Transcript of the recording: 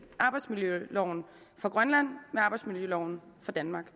arbejdsmiljøloven for grønland med arbejdsmiljøloven for danmark